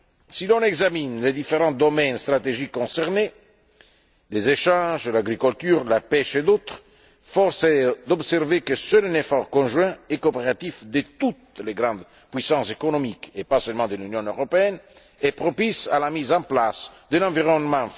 Si l'on examine les différents domaines stratégiques concernés les échanges, l'agriculture, la pêche et d'autres, force est d'observer que seul un effort conjoint et coopératif de toutes les grandes puissances économiques, et pas seulement de l'Union européenne, sera propice à la mise en place d'un environnement favorable au développement.